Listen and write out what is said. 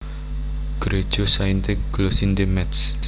Gréja Sainte Glossinde Métz